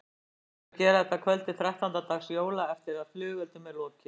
Best er að gera þetta að kvöldi þrettánda dags jóla eftir að flugeldum er lokið.